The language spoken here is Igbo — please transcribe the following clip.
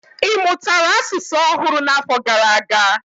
Ị mụtara asụsụ ọhụrụ n'afọ gara aga?